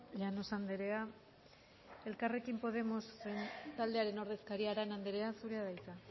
llanos andrea elkarrekin podemos taldearen ordezkaria arana andrea zurea da hitza